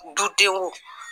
Dudenw